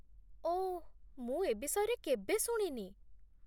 ଓଃ, ମୁଁ ଏ ବିଷୟରେ କେବେ ଶୁଣିନି